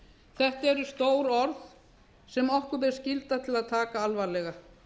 þetta eru stór orð sem okkur ber skylda til að taka alvarlega